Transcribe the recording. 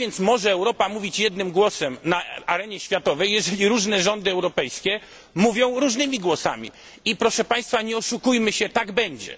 Jak więc może Europa mówić jednym głosem na arenie światowej, jeżeli różne rządy europejskie mówią różnymi głosami? Proszę państwa, nie oszukujmy się, tak będzie.